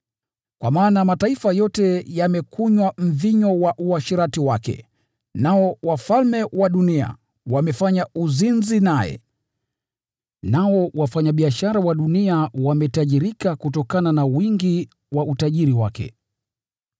Kwa maana mataifa yote yamekunywa mvinyo wa ghadhabu ya uasherati wake. Nao wafalme wa dunia wamefanya uzinzi nao, nao wafanyabiashara wa dunia wametajirika kutokana na wingi wa utajiri wake.”